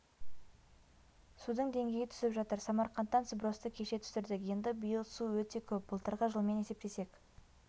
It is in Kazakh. судың деңгейі түсіп жатыр самарқандтан сбросты кеше түсірдік енді биыл су өте көп былтырғы жылмен есептесек